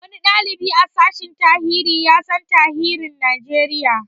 Wani ɗalibi a sashen tarihi ya san tarihin Najeriya